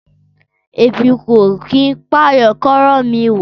Ẹbi o kín pàyán kọrọ mi wọ.